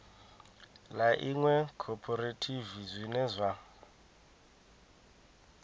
ḽa iṅwe khophorethivi zwine zwa